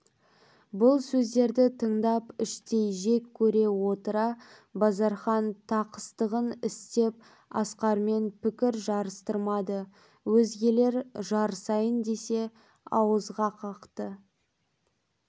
бұл сөздерді тыңдап іштей жек көре отыра базархан тақыстығын істеп асқармен пікір жарыстырмады өзгелер жарысайын десе ауызға қақты